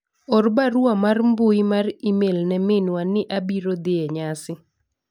or barua mar mbui mar email ne minwa ni abiro dhi e nyasi